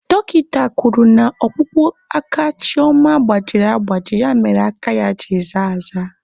Dọkịta kwuru na ọkpụkpụ aka Chioma gbajiri agbaji ya mere aka ya ji zaa aza.